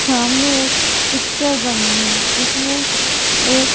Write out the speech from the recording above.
सामने एक पिक्चर बनी है जिसमें एक--